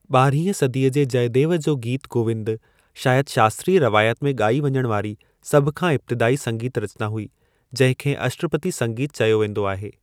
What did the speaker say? ॿIरहीं सदीअ जी जयदेव जो गीत गोविंद शायदि शास्त्रीय रिवायत में ॻIई वञण वारी सभ खां इब्तिदाई संगीतु रचना हुई जंहिं खे अष्टपती संगीतु चयो वेंदो आहे।